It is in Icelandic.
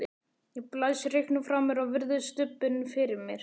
Ég blæs reyknum frá mér og virði stubbinn fyrir mér.